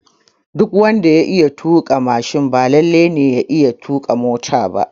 Duk wanda ya iya tuƙa mashin ba lalle ya iya tuƙa mota ba